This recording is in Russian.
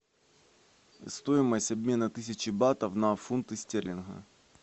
стоимость обмена тысячи батов на фунты стерлингов